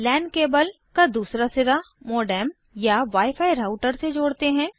लान cable का दूसरा सिरा मोडेम या wi फी राऊटर से जोड़ते हैं